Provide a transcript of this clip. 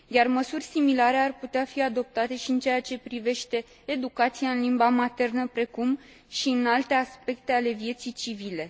Măsuri similare ar putea fi adoptate și în ceea ce privește educația în limba maternă, precum și alte aspecte ale vieții civile.